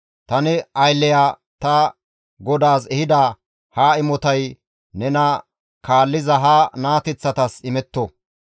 Ta ne aylleya ta godaas ehida ha imotay nena kaalliza ha naateththatas imetto.